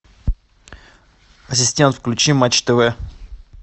ассистент включи матч тв